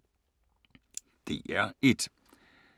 DR1